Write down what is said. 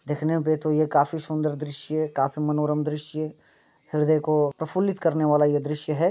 दिखनें पे तो ये काफी सुंदर दृश्य काफी मनोरम दृश्य हृदय को प्रफुलित करने वाला ये दृश्य है।